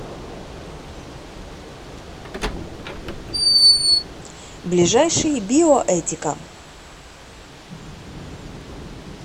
ближайший биоэтика